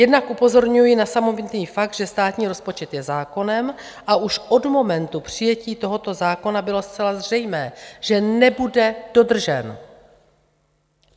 Jednak upozorňuji na samotný fakt, že státní rozpočet je zákonem a už od momentu přijetí tohoto zákona bylo zcela zřejmé, že nebude dodržen.